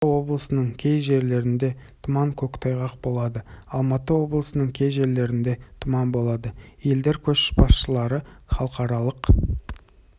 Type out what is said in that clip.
маңғыстау облысының кей жерлерінде тұман көктайғақ болады алматы облысының кей жерлерінде тұман болады елдер көшбасшылары халықаралық